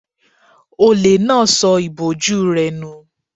Olè náà sọ ìbòjú rẹ̀ nù